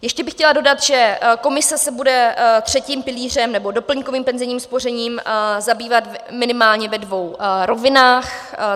Ještě bych chtěla dodat, že komise se bude třetím pilířem nebo doplňkovým penzijním spořením zabývat minimálně ve dvou rovinách.